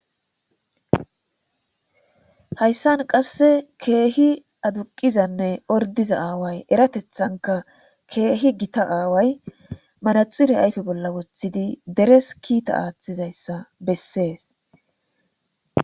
Hayssan qasse keehi aduqizanne ordiza aaway eratethanka keehi gita aaway manaxire ayfe bolla woththidi deres kiita aaththizayssa bessees.